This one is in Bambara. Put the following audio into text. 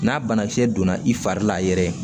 N'a banakisɛ donna i fari la yɛrɛ